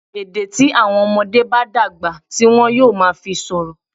Èdè tí àwọn ọmọdé bá dàgbà ti wọn yóò máa fi sọ̀rọ̀.